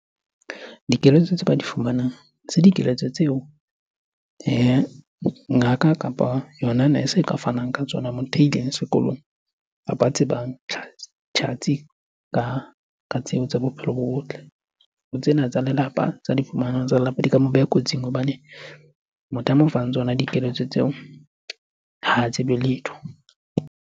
Dikeletso tse ba di fumanang dikeletso tseo ngaka kapa yona nurse-e e ka fanang ka tsona, motho a ileng sekolong kapa a tsebang tjhatsi ka tsebo tsa bophelo bo botle. Ho tsena tsa lelapa, tsa di fumanang tsa lelapa, di ka mo beha kotsing hobane motho a mo fang tsona dikeletso tseo ha tsebe letho.